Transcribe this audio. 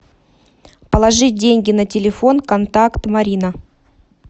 положить деньги на телефон контакт марина